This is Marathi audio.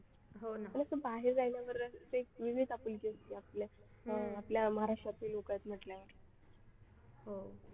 आणि असं बाहेर पाहिल्यावर ते वेगळीच आपुलकी असते आपल्यात आपल्या महाराष्ट्रातले लोक आहेत म्हटल्यावर हो